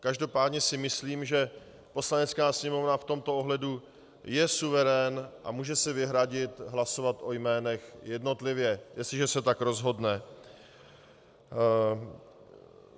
Každopádně si myslím, že Poslanecká sněmovna v tomto ohledu je suverén a může si vyhradit hlasovat o jménech jednotlivě, jestliže se tak rozhodne.